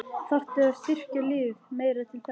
Þarftu að styrkja liðið meira til þess?